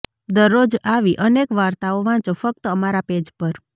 દરરોજ આવી અનેક વાર્તાઓ વાંચો ફક્ત અમારા પેજ પર